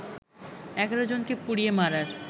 ১১ জনকে পুড়িয়ে মারার